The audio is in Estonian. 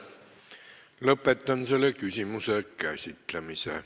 Lõpetan selle küsimuse käsitlemise.